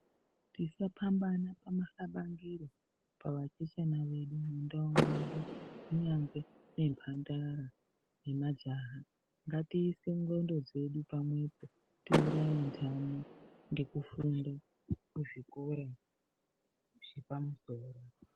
Tisapambana pamahlabangire pavachechana vedu mundau mwedu. Kunyangwe nemhandara nemajaha. Ngatiise ngxondo dzedu pamwe po tiuraye nhamo ngekufunda kuzvikora zvepamusoro.